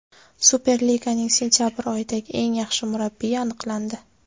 Superliganing sentabr oyidagi eng yaxshi murabbiyi aniqlandi.